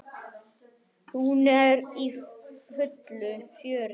Hún er í fullu fjöri.